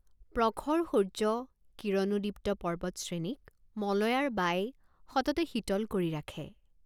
প্ৰখৰ সূৰ্য কিৰণোদ্দীপ্ত পৰ্বত শ্ৰেণীক মলয়াৰ বাই সততে শীতল কৰি ৰাখে।